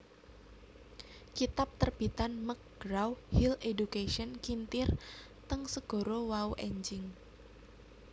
kitab terbitan McGraw Hill Education kintir teng segara wau enjing